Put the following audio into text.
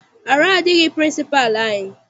Arụ adịghị pịrịnsịpalụ anyị.